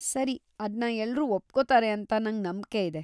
ಸರಿ, ಅದ್ನ ಎಲ್ರೂ ಒಪ್ಕೊತಾರೆ ಅಂತ ನಂಗ್ ನಂಬ್ಕೆಯಿದೆ.